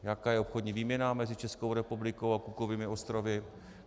Jaká je obchodní výměna mezi Českou republikou a Cookovými ostrovy?